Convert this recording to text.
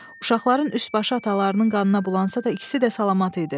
Uşaqların üst başı atalarının qanına bulansa da ikisi də salamat idi.